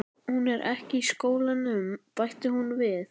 Hún er ekki í skólanum, bætti hún við.